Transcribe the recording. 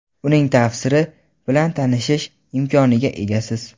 uning tafsiri bilan tanishish imkoniga egasiz.